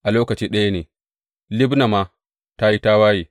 A lokaci ɗaya ne Libna ma ta yi tawaye.